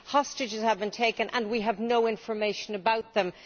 Hostages have been taken and we have no information about them.